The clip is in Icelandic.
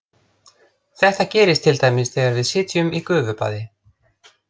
Þetta gerist til dæmis þegar við sitjum í gufubaði.